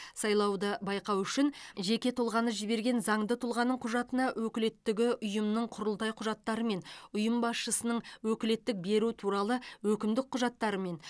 сайлауды байқау үшін жеке тұлғаны жіберген заңды тұлғаның құжатына өкілеттігі ұйымның құрылтай құжаттарымен ұйым басшысының өкілеттік беру туралы өкімдік құжаттарымен